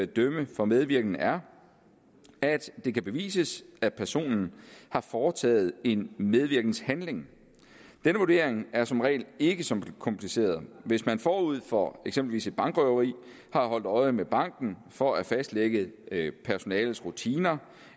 dømme for medvirken er at det kan bevises at personen har foretaget en medvirkenhandling denne vurdering er som regel ikke så kompliceret hvis man forud for eksempelvis et bankrøveri har holdt øje med banken for at fastlægge personalets rutiner